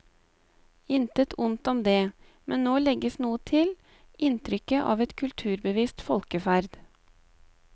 Intet ondt om det, men nå legges noe til, inntrykket av et kulturbevisst folkeferd.